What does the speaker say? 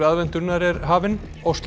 aðventunnar er hafinn